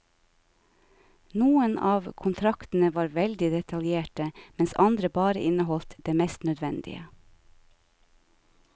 Noen av kontraktene var veldig detaljerte mens andre bare inneholdt det mest nødvendige.